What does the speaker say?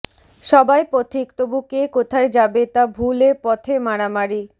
সবাই পথিক তবু কে কোথায় যাবে তা ভুলে পথে মারামারি